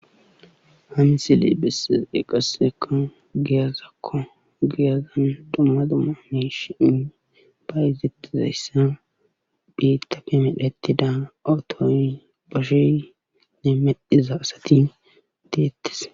Ha misiley bessiday qassekka giyazakko giyazan dumma dumma miishi bayzettizayssa biittafe medhettida otoy beshey iya medhiza asati deettes.